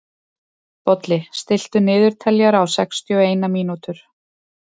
Bolli, stilltu niðurteljara á sextíu og eina mínútur.